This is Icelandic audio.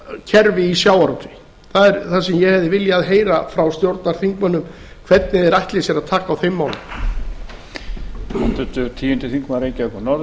kerfi í sjávarútvegi það er það sem ég hefði viljað heyra frá stjórnarþingmönnum hvernig þeir ætli sér að taka á þeim málum